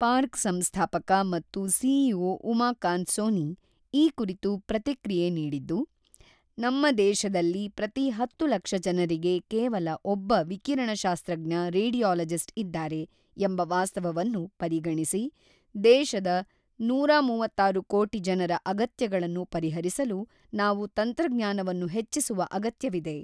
Park ಸಂಸ್ಥಾಪಕ ಮತ್ತು CEO Umakant Soni ಈ ಕುರಿತು ಪ್ರತಿಕ್ರಿಯೆ ನೀಡಿದ್ದು, ನಮ್ಮ ದೇಶದಲ್ಲಿ ಪ್ರತಿ ಹತ್ತು ಲಕ್ಷ ಜನರಿಗೆ ಕೇವಲ ಒಬ್ಬ ವಿಕಿರಣಶಾಸ್ತ್ರಜ್ಞ ರೇಡಿಯಾಲಜಿಸ್ಟ್ ಇದ್ದಾರೆ ಎಂಬ ವಾಸ್ತವವನ್ನು ಪರಿಗಣಿಸಿ, ದೇಶದ ನೂರ ಮೂವತ್ತಾರು ಕೋಟಿ ಜನರ ಅಗತ್ಯಗಳನ್ನು ಪರಿಹರಿಸಲು ನಾವು ತಂತ್ರಜ್ಞಾನವನ್ನು ಹೆಚ್ಚಿಸುವ ಅಗತ್ಯವಿದೆ.